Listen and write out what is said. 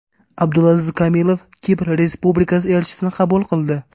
Abdulaziz Kamilov Kipr Respublikasi elchisini qabul qildi.